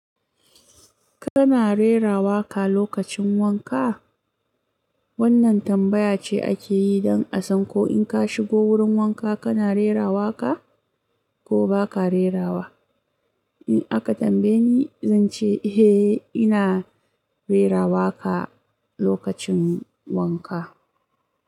Kana rerawa ka lokacin wanka? Wannan tambaya ce ake yi don a san ko in ka shigo wurin wanka kana rerawa ka ko ba ka rerawa. In aka tambaye ni, zan ce eh ina rerawa ka lokacin wanka.